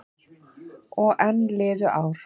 Og enn liðu ár.